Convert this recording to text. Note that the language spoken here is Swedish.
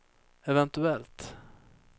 eventuellt